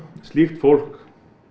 slíkt fólk